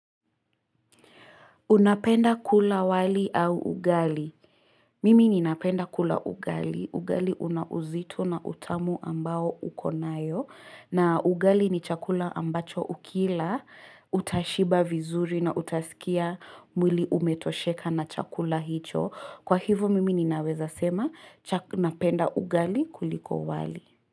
Unapenda kula wali au ugali? Mimi ninapenda kula ugali. Ugali unauzito na utamu ambao ukonayo. Na ugali ni chakula ambacho ukila, utashiba vizuri na utasikia mwili umetosheka na chakula hicho. Kwa hivo mimi ninaweza sema, napenda ugali kuliko wali.